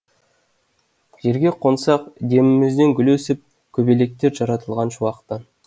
жерге қонсақ демімізден гүл өсіп көбелектер жаратылған шуақтан